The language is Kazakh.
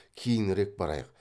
кейінірек барайық